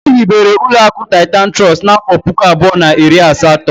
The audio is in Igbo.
Ehibere uloaku Titan Trust n'afo puku abuo na iri asato.